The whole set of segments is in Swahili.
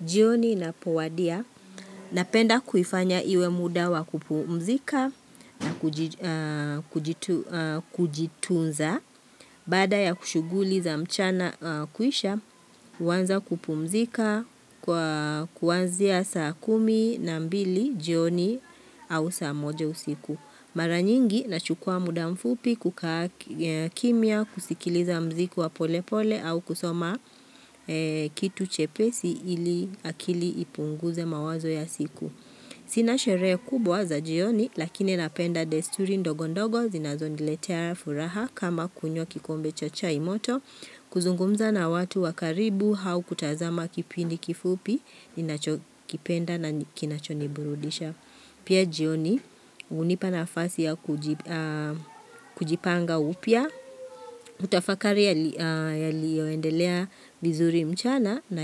Jioni inapowadia na penda kuifanya iwe mda wa kupumzika na kujitunza. Bada ya kushuguli za mchana kuisha, huanza kupumzika kwa kuanzia saa kumi na mbili jioni au saa moja usiku. Mara nyingi na chukua muda mfupi kukaa kimia kusikiliza mziku wa pole pole au kusoma kitu chepesi ili akili ipunguze mawazo ya siku. Sina sherehe kubwa za jioni lakini napenda desturi ndogo ndogo zinazondiletea furaha kama kunywa kikombe cha chai moto kuzungumza na watu wa karibu au kutazama kipindi kifupi inacho kipenda na kinacho ni burudisha. Pia jioni hunipa nafasi ya kujipanga upya, kutafakari yalio endelea vizuri mchana na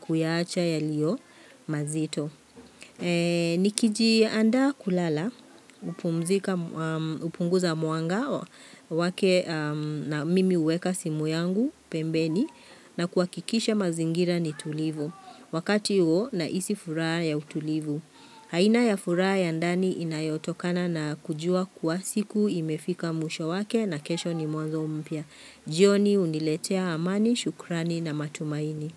kuyaacha yalio mazito. Nikiji andaa kulala, kupumzika upunguza muanga wake, mimi uweka simu yangu, pembeni, na kuhakikisha mazingira ni tulivu. Wakati huo na hisi furaha ya utulivu. Aina ya furaha ya ndani inayotokana na kujua kuwa siku imefika mwisho wake na kesho ni mwanzo mpya. Jioni uniletea amani, shukrani na matumaini.